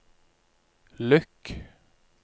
lukk